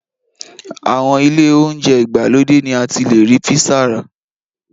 Àwọn ilé oúnjẹ ìgbàlódé ni a ti le rí písà rà.